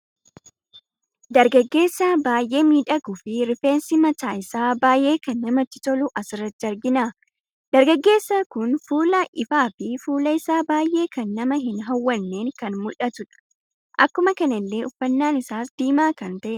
Dargaggeesaa baay'ee miidhaguu fi rifeensi mataa isaa baay'ee kan namatti tolu asirratti argina. Dargaggeesai kun fuula ifaa fi fuulli isaa baay'ee kan namaa hin hawwannen kan muldhatudha. Akkuma kanallee uffannan isaas diimaa kan ta'edha.